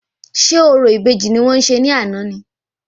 Ṣé orò ìbejì ni wọ́n ṣe ní àná ni?